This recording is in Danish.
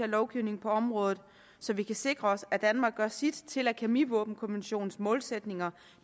lovgivningen på området så vi kan sikre os at danmark gør sit til at kemivåbenkonventionens målsætninger